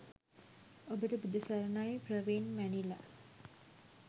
ඔබට බුදු සරණයි! ප්‍රවීන් මැනිලා